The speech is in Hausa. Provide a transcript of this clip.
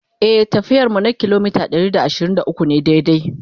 e tafiyar mu kilometa Ɗari da ashirin da ukwu ne daidai